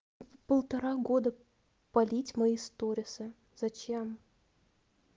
полтора года полить мои сторисы зачем